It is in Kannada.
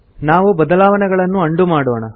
ನಾವು ಬದಲಾವಣೆಗಳನ್ನು ಅಂಡು ಮಾಡೋಣ